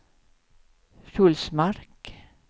Sjulsmark